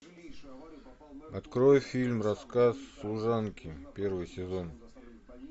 открой фильм рассказ служанки первый сезон